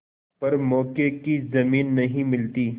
पर मौके की जमीन नहीं मिलती